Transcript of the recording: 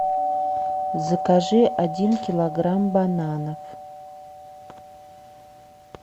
закажи один килограмм бананов